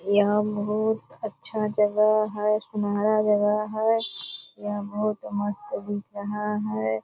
यहाँ बहुत अच्छा जगह है सुनहरा जगह है यह बहुत मस्त दिख रहा है।